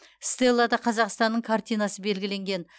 стеллада қазақстанның картинасы белгіленген